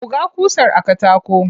Buga ƙusar a katako.